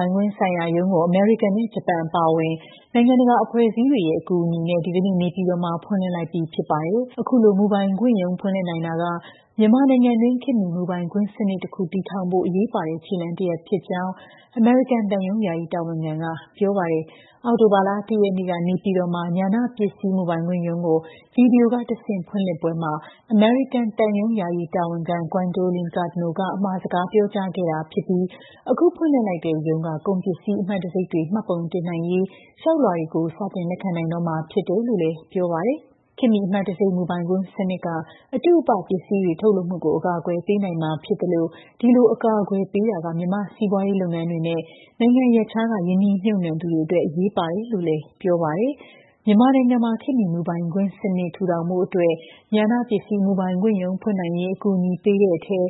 ိုင်ခွင့်ဆိုင်ရာရုံးကို အမေရိကန်နဲ့ ဂျပန်အပါအဝင် နိုင်ငံတကာအဖွဲ့အစည်းတွေရဲ့ အကူအညီနဲ့ ဒီကနေ့ နေပြည်တော်မှာ ဖွင့်လှစ်လိုက်ပြီဖြစ်ပါတယ်။ အခုလို မူပိုင်ခွင့်ရုံး ဖွင့်လှစ်နိုင်တာက မြန်မာနိုင်ငံတွင်း ခေတ်မီ မူပိုင်ခွင့်စနစ် တစ်ခုကို တည်ထောင်ဖို့ အရေးပါတဲ့ ခြေလှမ်း တစ်ရပ်ဖြစ်ကြောင်း အမေရိကန်သံရုံး ယာယီတာဝန်ခံက ပြောပါတယ်။ အောက်တိုဘာလ ၁ ရက်နေ့က နေပြည်တော်မှာ ဉာဏပစ္စည်းမူပိုင်ခွင့်ရုံးကို ဗီဒီယိုကတဆင့် ဖွင့်လှစ်ပွဲမှာ အမေရိကန်သံရုံး ယာယီတာဝန်ခံ Gwendolyn Cardno က အမှာစကား ပြောကြားခဲ့တာဖြစ်ပြီး အခု ဖွင့်လှစ်လိုက်တဲ့ရုံးက ကုန်ပစ္စည်း အမှတ်တံဆိပ်တွေ မှတ်ပုံတင်နိုင်ရေး လျှောက်လွှာတွေကို စတင် လက်ခံနိုင်တော့မှာ ဖြစ်တယ်လို့လည်း ပြောပါတယ်။ ခေတ်မီ အမှတ်တံဆိပ် မူပိုင်ခွင့်စနစ်က အတုအပ ပစ္စည်းတွေ ထုတ်လုပ်မှုကို အကာအကွယ်ပေးနိုင်မှာ ဖြစ်သလို ဒီလို အကာအကွယ်ပေးတာက မြန်မာ့ စီးပွားရေးလုပ်ငန်းတွေနဲ့ နိုင်ငံရပ်ခြားက ရင်းနှီးမြှုပ်နှံသူတွေအတွက် အရေးပါတယ်လို့ လည်း ပြောပါတယ်။ မြန်မာနိုင်ငံမှာ ခေတ်မီ မူပိုင်ခွင့်စနစ် ထူထောင်ဖို့အတွက် ဉာဏ ပစ္စည်း မူပိုင်ခွင့် ရုံး ဖွင့်နိုင်ရေး အကူအညီ ပေးတဲ့အထဲ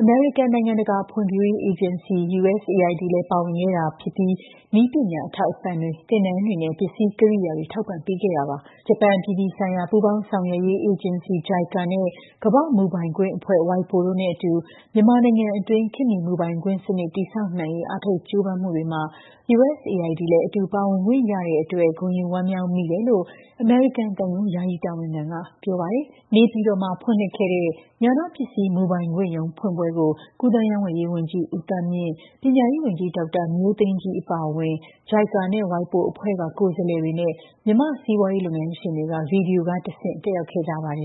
အမေရိကန် နိုင်ငံတကာ ဖွံ့ဖြိုးရေး အေဂျင်စီ (USAID) လည်း ပါဝင်ခဲ့တာဖြစ်ပြီး နည်းပညာ အထောက်အပံ့တွေ၊ သင်တန်းတွေနဲ့ ပစ္စည်း ကိရိယာတွေ ထောက်ပံ့ပေးခဲ့တာပါ။ ဂျပန် အပြည်ပြည်ဆိုင်ရာ ပူးပေါင်းဆောင်ရွက်ရေး အေဂျင်စီ (JICA) နဲ့ ကမ္ဘာ့ မူပိုင်ခွင့်အဖွဲ့ (WIPO) တို့နဲ့အတူ မြန်မာနိုင်ငံအတွင်း ခေတ်မီ မူပိုင်ခွင့်စနစ် တည်ဆောက်နိုင်ရေး အားထုတ် ကြိုးပမ်းမှုတွေမှာ USAID လည်း အတူပါဝင်ခွင့်ရတဲ့အတွက် ဂုဏ်ယူဝမ်းမြောက်မိတယ်လို့ အမေရိကန်သံရုံး ယာယီတာဝန်ခံက ပြောပါတယ်။ နေပြည်တော်မှာ ဖွင့်လှစ်ခဲ့တဲ့ ဉာဏပစ္စည်းမူပိုင်ခွင့်ရုံး ဖွင့်ပွဲကို ကူးသန်းရောင်းဝယ်ရေး န်ကြီး ဦးသန်းမြင့်၊ ပညာရေး ဝန်ကြီး ဒေါက်တာ မျိုးသိမ်းကြီး အပါအဝင် JICA နဲ့ WIPOအဖွဲ့က ကိုယ်စားလှယ်တွေနဲ့ မြန်မာ့ စီးပွားရေးလုပ်ငန်းရှင်တွေက ဗီဒီယိုကတဆင့် တက်ရောက်ခဲ့ကြပါတယ်